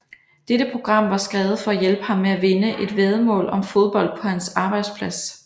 Dette program var skrevet for at hjælpe ham med at vinde et væddemål om fodbold på hans arbejdsplads